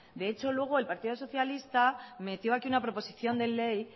de hecho luego el partido socialista metió aquí una proposición de ley